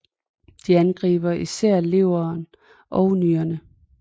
De angriber især leveren og nyrerne